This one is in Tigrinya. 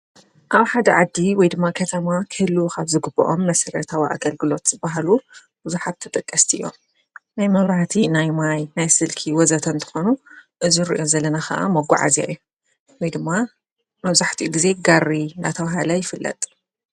ኣብ ሓደ ዓጊ ወይ ድማ ኸተማ ክህሉኻብ ዝግብኦም መሠረ ታው ኣገልግሎት በሃሉ ብዙኃብተጠቀስቲ እዮም ናይ መብራህቲ ናይ ማይ ናይ ስልኪ ወዘተን ትኾኑ እዙ ርእዮ ዘለና ኸዓ መጕዓ እዚ እዮ ወይ ድማ መዙሕቲ ጊዜ ጋሪ ናታውሃላ ይፍለጥ።